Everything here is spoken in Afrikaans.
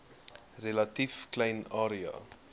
relatief klein area